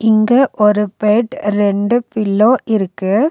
இங்க ஒரு பெட் ரெண்டு பில்லோ இருக்கு.